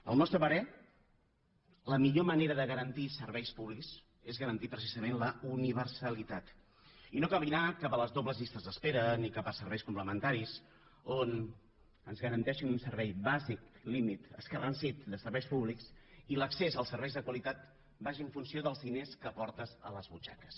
al nostre parer la millor manera de garantir serveis públics és garantir precisament la universalitat i no caminar cap a les dobles llistes d’espera ni cap a serveis complementaris on ens garanteixin un servei bàsic límit escarransit de serveis públics i l’accés als serveis de qualitat vagi en funció dels diners que portes a les butxaques